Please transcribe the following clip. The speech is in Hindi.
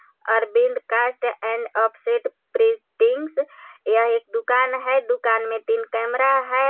Arvind cast and offset printings यह एक दुकान है दुकान में तीन कैमरा है.